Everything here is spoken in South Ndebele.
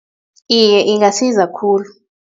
Iye, ingasiza khulu.